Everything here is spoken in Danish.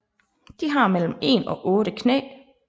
De har mellem 1 og 8 knæ